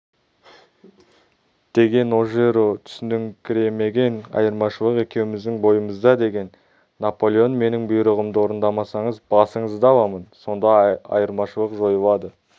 деген ожеро түсініңкіремеген айырмашылық екеуміздің бойымызда деген наполеон менің бұйрығымды орындамасаңыз басыңызды аламын сонда айырмашылық жойылады